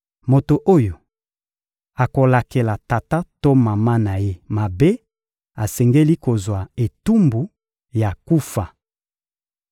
Moto oyo akolakela tata to mama na ye mabe, asengeli kozwa etumbu ya kufa.